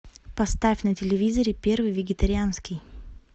поставь на телевизоре первый вегетарианский